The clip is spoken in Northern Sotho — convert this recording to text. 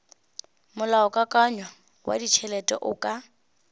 molaokakanywa wa ditšhelete o ka